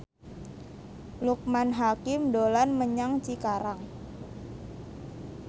Loekman Hakim dolan menyang Cikarang